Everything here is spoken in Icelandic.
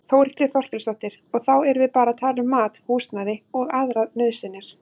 Þórhildur Þorkelsdóttir: Og þá erum við bara að tala um mat, húsnæði og aðrar nauðsynjar?